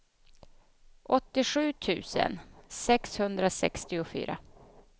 åttiosju tusen sexhundrasextiofyra